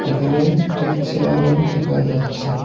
এখানে একটি চেয়ারও দেখা যাচ্ছে।